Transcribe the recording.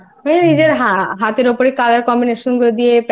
নিজের হাতের উপরে Color Combination গুলো দিয়ে